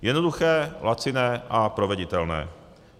Jednoduché, laciné a proveditelné.